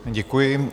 Děkuji.